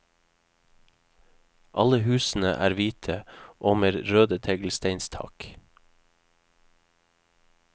Alle husene er hvite og med røde teglsteinstak.